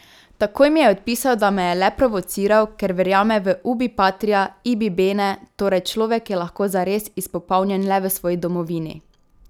Takoj mi je odpisal, da me je le provociral, ker verjame v ubi patria, ibi bene, torej človek je lahko zares izpopolnjen le v svoji domovini.